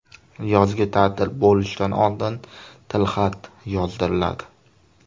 Yozgi ta’til bo‘lishidan oldin tilxat yozdiriladi.